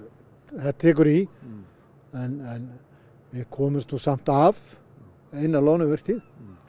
það tekur í en við komumst nú samt af eina loðnuvertíð